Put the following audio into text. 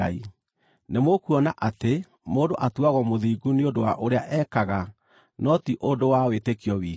Nĩmũkuona atĩ mũndũ atuagwo mũthingu nĩ ũndũ wa ũrĩa ekaga, no ti ũndũ wa wĩtĩkio wiki.